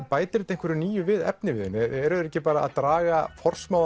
bætir þetta einhverju nýju við efniviðinn eru þeir ekki bara að draga